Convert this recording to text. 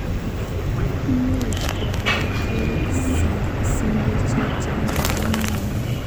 Much kokarkeit shideshek che ipporu mioni.